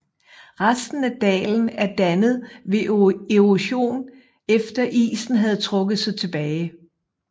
Resten af dalen er dannet ved erosion efter isen havde trukket sig tilbage